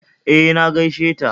E, na gaisheta